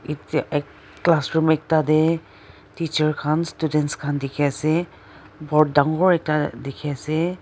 ete ek classroom ekta dae teacher khan students khan diki asae aro board dangor ekta diki asae.